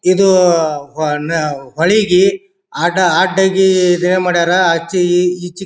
ಇದು ಹೊನ್ನ ಹೋಳಿಗಿ ಆಟ ಆಡಗಿ ಇದೆ ಮಾಡರ್ ಆಚಿ ಈಚಿ.